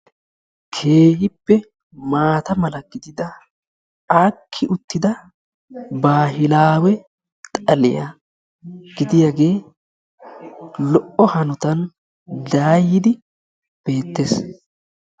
keehippe maata mala gididda aakki utidda baahilaawe xaliya gidiyaage lo''o hanotan daayidi beettees.